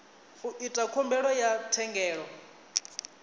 u ita khumbelo ya thendelo